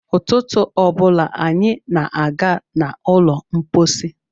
Ụtụtụ ọ bụla anyị na-aga n'ụlọ mkpọsi.